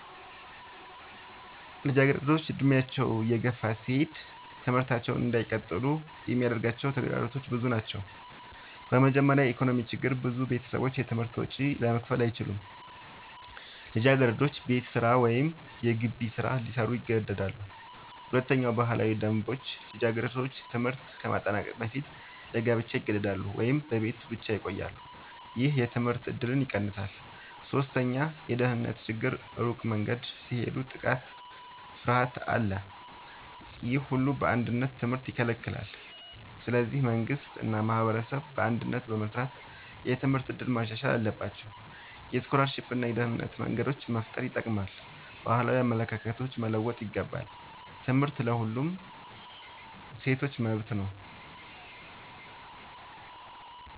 ልጃገረዶች ዕድሜያቸው እየገፋ ሲሄድ ትምህርታቸውን እንዳይቀጥሉ የሚያጋጥሟቸው ተግዳሮቶች ብዙ ናቸው። በመጀመሪያ የኢኮኖሚ ችግር ብዙ ቤተሰቦች የትምህርት ወጪ ለመክፈል አይችሉም። ልጃገረዶች ቤት ስራ ወይም የገቢ ስራ ሊሰሩ ይገደዳሉ። ሁለተኛ ባህላዊ ደንቦች ልጃገረዶች ትምህርት ከማጠናቀቅ በፊት ለጋብቻ ይገደዳሉ ወይም በቤት ብቻ ይቆያሉ። ይህ የትምህርት እድልን ይቀንሳል። ሶስተኛ የደህንነት ችግር ሩቅ መንገድ ሲሄዱ የጥቃት ፍርሃት አለ። ይህ ሁሉ በአንድነት ትምህርትን ይከለክላል። ስለዚህ መንግሥት እና ማህበረሰብ በአንድነት በመስራት የትምህርት እድል ማሻሻል አለባቸው። የስኮላርሺፕ እና የደህንነት መንገዶች መፍጠር ይጠቅማል። ባህላዊ አመለካከቶች መለወጥ ይገባል። ትምህርት ለሁሉም ሴቶች መብት ነው።